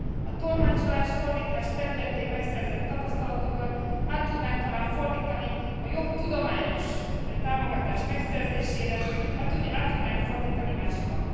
A tolmácsolás, fordítás területén megszerzett tapasztalatokat át tudnánk talán fordítani a jobb tudományos támogatás megszerzésére, át tudnánk fordítani máshova.